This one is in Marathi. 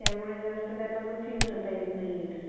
तेव्हा आपण एक छोट्याश्या जगातून मोठा